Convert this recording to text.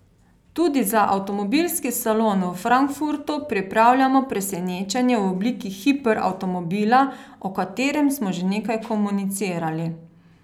Tudi za avtomobilski salon v Frankfurtu pripravljamo presenečenje v obliki hiper avtomobila, o katerem smo že nekaj komunicirali.